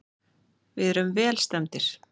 Við erum vel stemmdir.